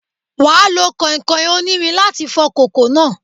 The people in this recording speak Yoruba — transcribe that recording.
You will have to use iron sponge to wash the pot